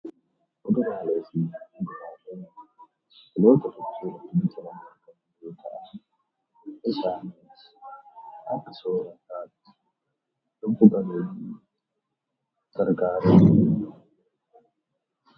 Kuduraalee fi muduraalee jechuun gosoota biqilootaa keessaa nyaataaf kan oolaniidha. Isaannis baayyeen isaanii kan baalli isaanii nyaatamu yammuu ta'u; baayyeen isaanii immoo firii isaaniitu nyaatama.